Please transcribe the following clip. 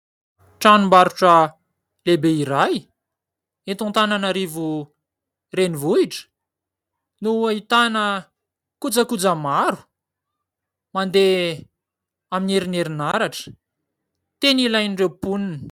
Tranombarotra lehibe iray, eto Antananarivo renivohitra no ahitana kojakoja maro mandeha amin'ny heriny herinaratra tena ilain'ireo mponina.